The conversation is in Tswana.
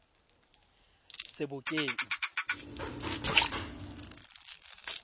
sebokeng